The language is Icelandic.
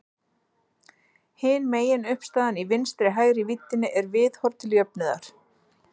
Hin meginuppistaðan í vinstri-hægri víddinni er viðhorf til jöfnuðar.